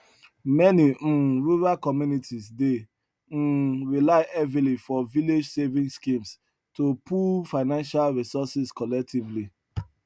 many um rural communities dey um rely heavily for village saving schemes to pool financial resources collectively